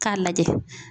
K'a lajɛ